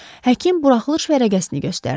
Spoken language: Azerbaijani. Həkim buraxılış vərəqəsini göstərdi.